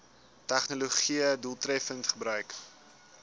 tegnologië doeltreffend gebruik